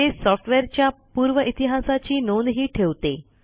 ते सॉफ्टवेअरच्या पूर्व इतिहासाची नोंदही ठेवते